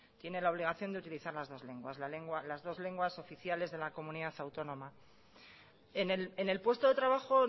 tiene la obligación de utilizar la dos lenguas las dos lenguas oficiales de la comunidad autónoma en el puesto de trabajo